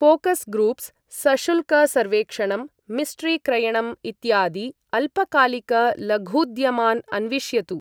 ऴोकस् groups, सशुल्क सर्वेक्षणं, mystery क्रयणम् इत्यादि अल्पकालिक लघूद्यमान् अन्विष्यतु।